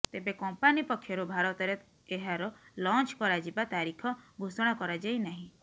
ତେବେ କମ୍ପାନୀ ପକ୍ଷରୁ ଭାରତରେ ଏହାର ଲଞ୍ଚ କରାଯିବା ତାରିଖ ଘୋଷଣା କରାଯାଇ ନାହିଁ